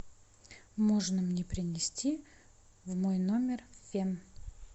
можно мне принести в мой номер фен